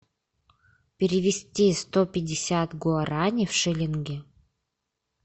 перевести сто пятьдесят гуарани в шиллинги